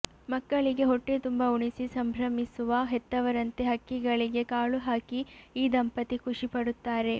ಮಕ್ಕಳಿಗೆ ಹೊಟ್ಟೆತುಂಬ ಉಣಿಸಿ ಸಂಭ್ರಮಿಸುವ ಹೆತ್ತವರಂತೆ ಹಕ್ಕಿಗಳಿಗೆ ಕಾಳು ಹಾಕಿ ಈ ದಂಪತಿ ಖುಷಿಪಡುತ್ತಾರೆ